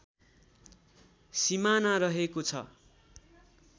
सीमाना रहेको छ